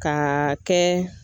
Kaa kɛ